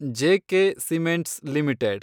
J K cements limited